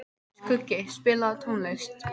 Skuggi, spilaðu tónlist.